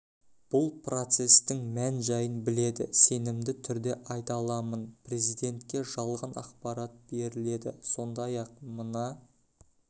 бұл процестің мән жайын біледі сенімді түрде айта аламын президентке жалған ақпарат беріледі сондай-ақ мына